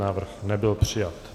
Návrh nebyl přijat.